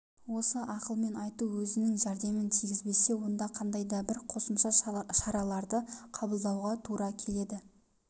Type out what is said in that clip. осы ақылмен айту өзінің жәрдемін тигізбесе онда қандай да бір қосымша шараларды қабылдауға тура келеді